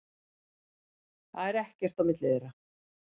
Það er ekkert á milli þeirra.